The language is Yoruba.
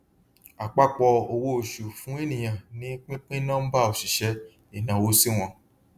àpapọ owó oṣù fún ènìyàn ni pínpín nọmbà òṣìṣẹ ìnáwó sí wọn